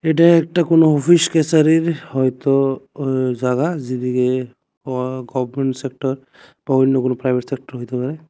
এটা একটা কোনো অফিস ক্যাচারীর হয়তো ও জাগা যেদিগে ক গরমেন্ট সেক্টর বা অন্য কোনো প্রাইভেট সেক্টর হইতে পারে।